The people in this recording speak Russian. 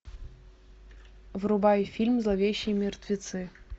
врубай фильм зловещие мертвецы